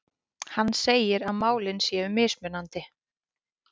Hann segir að málin séu mismunandi